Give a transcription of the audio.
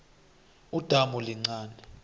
udamu lincani